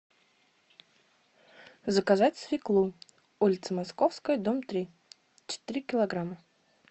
заказать свеклу улица московская дом три четыре килограмма